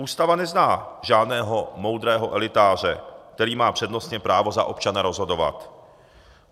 Ústava nezná žádného moudrého elitáře, který má přednostně právo za občany rozhodovat.